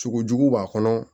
Sogo jugu b'a kɔnɔ